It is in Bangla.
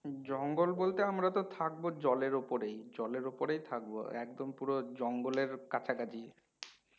হম জঙ্গল বলতে আমরা তো থাকবো জলের ওপরেই জলের ওপরেই থাকবো একদম পুরো জঙ্গলের কাছাকাছি